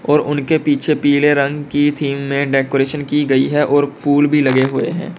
उनके पीछे पीले रंग की थीम में डेकोरेशन की गई है और फूल भी लगे हुए हैं।